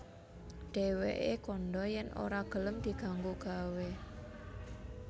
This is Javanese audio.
Dhèwèké kandha yèn ora gelem diganggu gawé